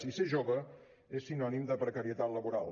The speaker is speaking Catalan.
i ser jove és sinònim de precarietat laboral